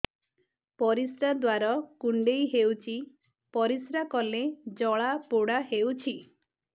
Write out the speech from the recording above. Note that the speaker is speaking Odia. ପରିଶ୍ରା ଦ୍ୱାର କୁଣ୍ଡେଇ ହେଉଚି ପରିଶ୍ରା କଲେ ଜଳାପୋଡା ହେଉଛି